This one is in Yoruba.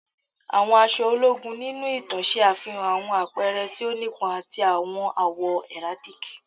Àwọn aṣọ ologun ninu itan ṣe afihan awọn apẹrẹ ti o nipọn ati awọn awọ heraldic